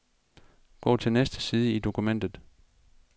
Gå til næste side i dokumentet.